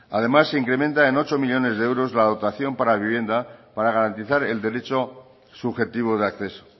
además de incrementa en ocho millónes de euros la dotación para vivienda para garantizar el derecho subjetivo de acceso